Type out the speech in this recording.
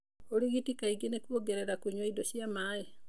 Ũrigiti kaingĩ nĩ kuongerera kũnyua indo cia maĩ.